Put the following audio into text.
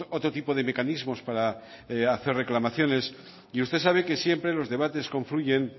otro tipo de mecanismos para hacer reclamaciones y usted sabe que siempre los debates confluyen